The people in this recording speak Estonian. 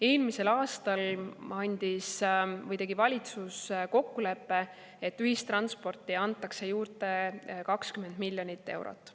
Eelmisel aastal tegi valitsus kokkuleppe, et ühistransporti antakse juurde 20 miljonit eurot.